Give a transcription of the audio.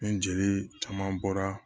Ni jeli caman bɔra